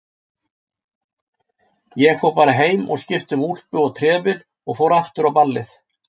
Ég fór bara heim og skipti um úlpu og trefil og fór aftur á ballið.